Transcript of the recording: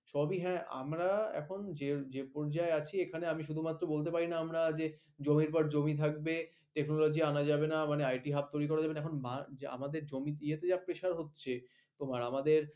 সবই হ্যাঁ আমরা এখন যে যে পর্যায়ে আছি আমি শুধুমাত্র বলতে পারি না আমরা যে জমির পর জমি থাকবে technology আনা যাবে না, মানে IT hub তৈরি করা যাবে না। এখন যে আমাদের জমির ইয়েতে যা pressure হচ্ছে তোমার আমাদের